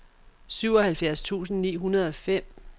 syvoghalvfjerds tusind ni hundrede og fem